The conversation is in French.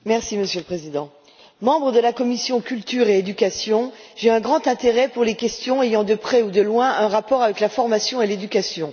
Monsieur le Président, en tant que membre de la commission de la culture et de l'éducation, j'ai un grand intérêt pour les questions ayant de près ou de loin un rapport avec la formation et l'éducation.